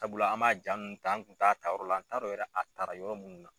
Sabula an m'a jaa ninnu ta an kun t'a a ta yɔrɔ la an t'a dɔn yɛrɛ a tara yɔrɔ munnu na.